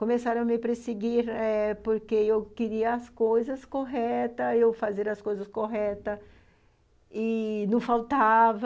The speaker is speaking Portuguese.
Começaram a me perseguir eh porque eu queria as coisas corretas, eu fazia as coisas corretas e não faltava.